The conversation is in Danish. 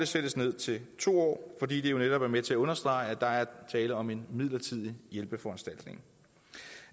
sættes ned til to år fordi det jo netop er med til at understrege at der er tale om en midlertidig hjælpeforanstaltning